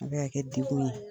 A bɛ ka kɛ dekun ye .